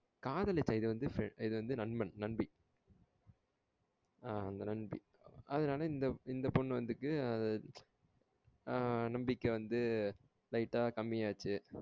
காதலிச்சான். இது வந்து நண்பன் நண்பி. ஆ அந்த நண்பி அதனால இந்த பொண்ணு வந்துட்டு அந்த நண்பிக்கு வந்து light ஆ கம்பி ஆச்சு.